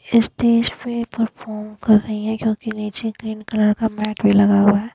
Stage पे perform कर रही है नीचे ग्रीन कलर का मैट भी लगा हुआ है।